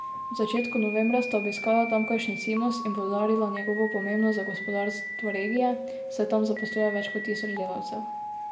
V začetku novembra sta obiskala tamkajšnji Cimos in poudarila njegovo pomembnost za gospodarstvo regije, saj tam zaposluje več kot tisoč delavcev.